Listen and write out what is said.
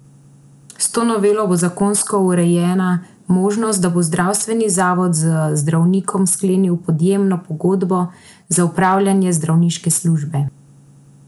S to novelo bo zakonsko urejena možnost, da bo zdravstveni zavod z zdravnikom sklenil podjemno pogodbo za opravljanje zdravniške službe.